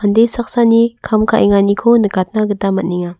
mande saksani kam ka·enganiko nikatna gita man·enga.